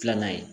Filanan ye